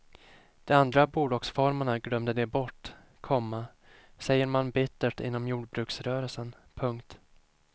De andra bolagsformerna glömde de bort, komma säger man bittert inom jordbruksrörelsen. punkt